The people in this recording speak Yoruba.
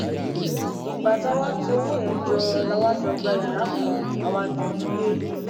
ìgbà tá a wáá tu owó yẹn jọ la jọ gba yàrá kan a wàá jọ ń gbé